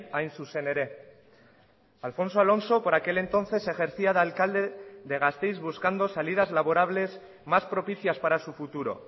hain zuzen ere alfonso alonso por aquel entonces ejercía de alcalde de gasteiz buscando salidas laborables más propicias para su futuro